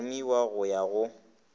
go rumiwa go ya go